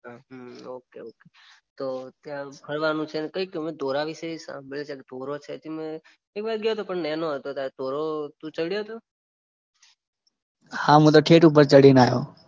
Okay okay તો ત્યાં ફરવાનું છે ને અમે ધોરા વિશે સાંભળ્યું છે. ધોરા ત્યાં બાજુ ગયો તો પણ નેનો હતો ત્યારે પણ ધોરા તુ ચડયો તો?